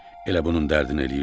Elə bunun dərdini eləyirsən?